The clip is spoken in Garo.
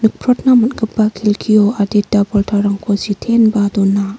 nikprotna man·gipa kelkio adita poltarangko siteenba dona.